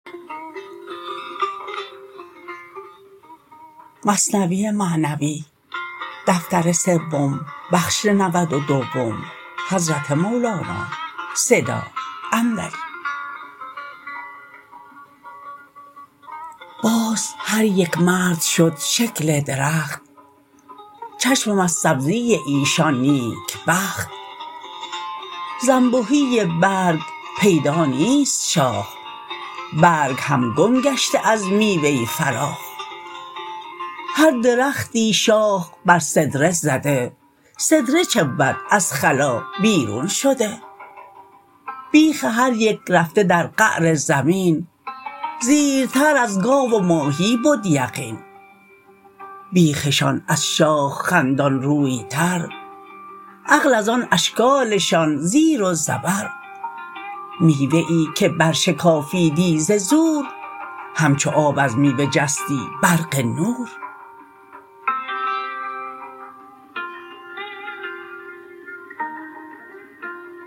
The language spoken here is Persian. باز هر یک مرد شد شکل درخت چشمم از سبزی ایشان نیکبخت زانبهی برگ پیدا نیست شاخ برگ هم گم گشته از میوه فراخ هر درختی شاخ بر سدره زده سدره چه بود از خلا بیرون شده بیخ هر یک رفته در قعر زمین زیرتر از گاو و ماهی بد یقین بیخشان از شاخ خندان روی تر عقل از آن اشکالشان زیر و زبر میوه ای که بر شکافیدی ز زور همچو آب از میوه جستی برق نور